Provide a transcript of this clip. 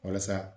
Walasa